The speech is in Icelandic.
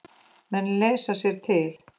Menn lesa sér til.